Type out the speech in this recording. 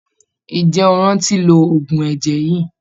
Ǹjẹ́ o rántí lo oògùn ẹ̀jẹ̀ yìí?